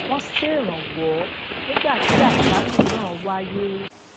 wón ṣèrànwó nígbà tí àjálù náà wáyé